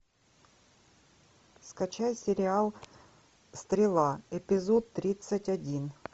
скачай сериал стрела эпизод тридцать один